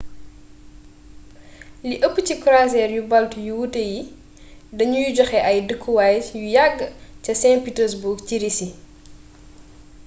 li ëpp ci croisiere yu baltes yu wuute yi dañuy joxe ay dëkkuwaay yu yagg ca st petersburg ci risi